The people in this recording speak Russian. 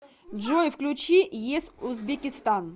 джой включи ес узбекистан